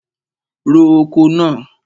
Ro oko náà!